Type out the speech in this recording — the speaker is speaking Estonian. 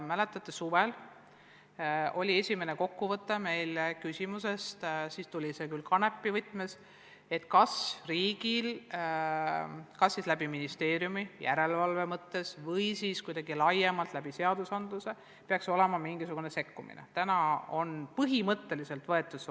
Mäletate, suvel tegime esimese kokkuvõtte küsimusest – siis tuli see Kanepis juhtunu alusel –, kas riigil ministeeriumi järelevalve mõttes või siis kuidagi laiemalt seaduste alusel peaks olema õigus või kohustus säärasel juhul sekkuda.